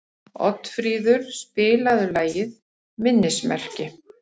Oddfríður, spilaðu lagið „Minnismerki“.